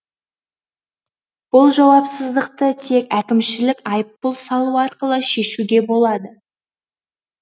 бұл жауапсыздықты тек әкімшілік айыппұл салу арқылы шешуге болады